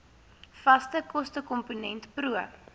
vaste kostekomponent pro